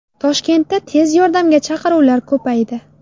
Toshkentda tez yordamga chaqiruvlar ko‘paydi.